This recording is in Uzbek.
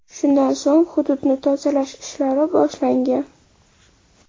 Shundan so‘ng hududni tozalash ishlari boshlangan.